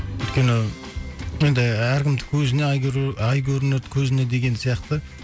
өйткені енді әркімдікі өзіне ай көрінер көзіне деген сияқты